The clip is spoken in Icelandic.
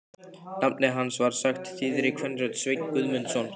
Nafnið hans var sagt þýðri kvenrödd: Sveinn Guðmundsson?